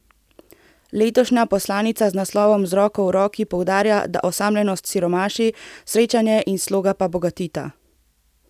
Letošnja poslanica z naslovom Z roko v roki poudarja, da osamljenost siromaši, srečanje in sloga pa bogatita.